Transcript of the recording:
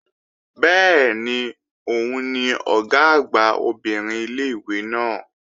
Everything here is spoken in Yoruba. Bẹ́ẹ̀ni, òun ni Ọ̀gá àgbà obìnrin ilé-ìwé náà